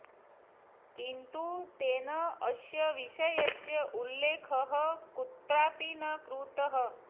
किन्तु तेन अस्य विषयस्य उल्लेखः कुत्रापि न कृतः